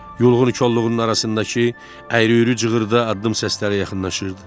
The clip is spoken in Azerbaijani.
Yulğun kolluğunun arasındakı əyri-üyrü cığırda addım səsləri yaxınlaşırdı.